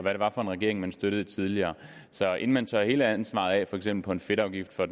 hvad det var for en regering man støttede tidligere så inden man tørrer hele ansvaret for for eksempel fedtafgiften af